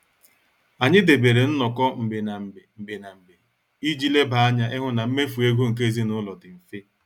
Anyị debere nnoko mgbe na mgbe mgbe na mgbe iji leba anya ịhụ na mmefu ego nke ezinụlọ dị mfe.